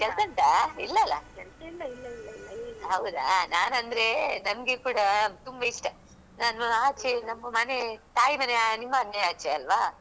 ಹೌದಾ ನಾನ್ ಅಂದ್ರೇ ನಂಗೆ ಕೂಡಾ ತುಂಬಾ ಇಷ್ಟ ನಾನೂ ಆಚೇ ನಮ್ಮ ಮನೆ ತಾಯಿ ಮನೆಯಾ ನಿಮ್ಮ ಮನೆಯ ಆಚೇ ಅಲ್ವಾ ಆವಾಗ ಬಂದಾಗ ನಂಗೆ ಕಲ್ಸಿ ಕೊಡಿ ಆಯ್ತಾ?